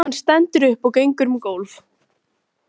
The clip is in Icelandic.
Hann stendur upp og gengur um gólf.